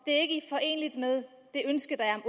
at med det ønske der er